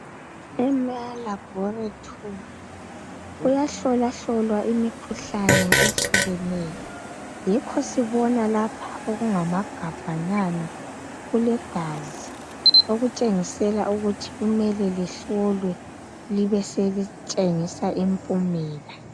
Emalabhoritori kuyahlolwahlolwa imikhuhlane ehlukeneyo yikho sibona lapha okungamagabhanyana kulegazi okutshengisela ukuthi kumele lihlolwe libeselitshengisa impumela.